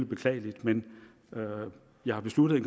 beklageligt men jeg har besluttet